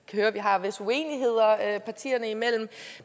høre at vi har visse uenigheder partierne imellem